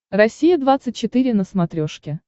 россия двадцать четыре на смотрешке